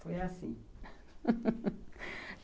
Foi assim